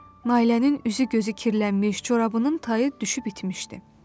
Nailənin üzü-gözü kirlənmiş, corabının tayı düşüb itmişdi.